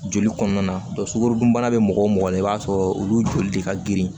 Joli kɔnɔna na sukaro dunbana bɛ mɔgɔ o mɔgɔ la i b'a sɔrɔ olu joli de ka girin